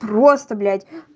просто блять